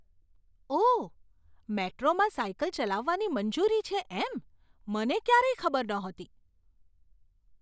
ઓહ! મેટ્રોમાં સાયકલ ચલાવવાની મંજૂરી છે એમ. મને ક્યારેય ખબર નહોતી.